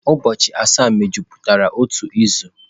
Ụbọchị asaa mejupụtara otu izu.